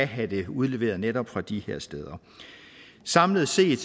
have den udleveret netop fra de her steder samlet set er